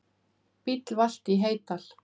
Bíll valt í Heydal